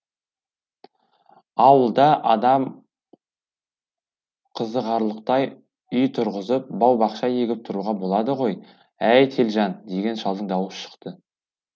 ауылда адам қызығарлықтай үй тұрғызып бау бақша егіп тұруға болады ғой әй телжан деген шалдың дауысы шықты